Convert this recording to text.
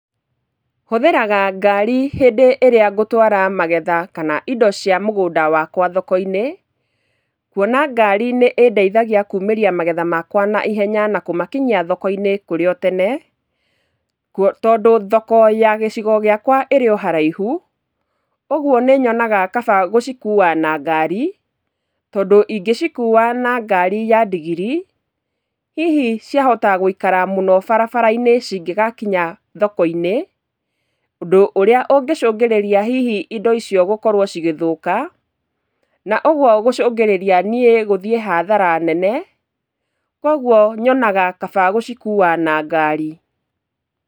Hũthagĩra ngari hĩndĩ ĩrĩa ngũtwara magetha kana indo cia mũgũnda wakwa thoko-inĩ, kuona ngari nĩ ĩndeithagia kumĩria magetha makwa na ihenya na kũmakinyia thoko-inĩ kũrĩ o tene, tondũ thoko ya gĩcigo gĩakwa ĩrĩ o haraihu, ũguo nĩ nyonaga kaba gũcikua na ngari, tondũ ingĩcikua na ngari ya ndigiri, hihi cia hota gũikara mũno barabara-inĩ cingĩgakinya thoko-inĩ, ũndũ ũrĩa ũngĩcũngĩrĩria hihi indo icio gũkorwo cigĩthũka, na ũguo gũcũngĩrĩra niĩ gũthiĩ hathara nene. Kũguo nyonaga kaba gũcikuua na ngari.